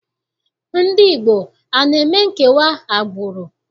Ndị Igbo ana eme nkewa agbụrụ?